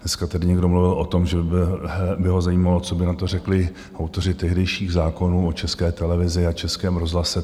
Dneska tady někdo mluvil o tom, že by ho zajímalo, co by na to řekli autoři tehdejších zákonů o České televizi a Českém rozhlase.